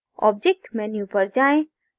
object menu पर जाएँ